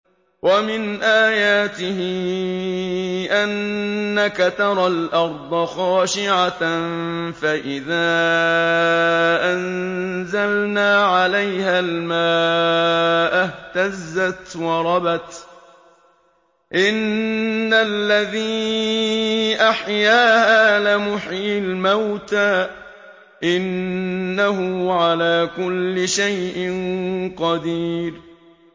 وَمِنْ آيَاتِهِ أَنَّكَ تَرَى الْأَرْضَ خَاشِعَةً فَإِذَا أَنزَلْنَا عَلَيْهَا الْمَاءَ اهْتَزَّتْ وَرَبَتْ ۚ إِنَّ الَّذِي أَحْيَاهَا لَمُحْيِي الْمَوْتَىٰ ۚ إِنَّهُ عَلَىٰ كُلِّ شَيْءٍ قَدِيرٌ